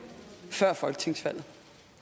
før folketingsvalget